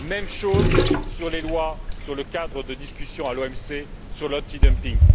Même chose sur les lois sur le cadre de discussion à l'OMC, sur l'anti dumping.